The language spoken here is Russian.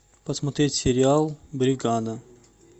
посмотреть сериал бригада